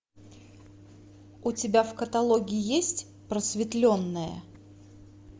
у тебя в каталоге есть просветленная